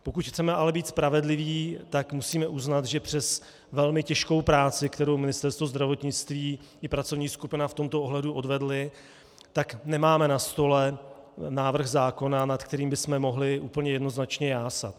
Pokud chceme ale být spravedliví, tak musíme uznat, že přes velmi těžkou práci, kterou Ministerstvo zdravotnictví i pracovní skupina v tomto ohledu odvedly, tak nemáme na stole návrh zákona, nad kterým bychom mohli úplně jednoznačně jásat.